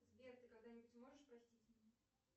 сбер ты когда нибудь сможешь простить меня